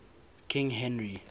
king henry